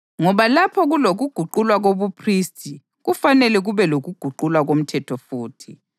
Ngoba lapho kulokuguqulwa kobuphristi, kufanele kube lokuguqulwa komthetho futhi.